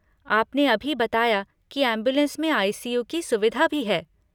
आपने अभी बताया कि एम्बुलेंस में आई.सी.यू. की सुविधा भी है।